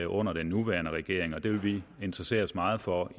under den nuværende regering og det vil vi interessere os meget for